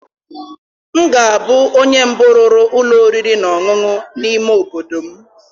M ga-abụ onye mbụ rụrụ ụlọ oriri na ọṅụṅụ n'ime obodo m